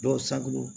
Dɔw saki don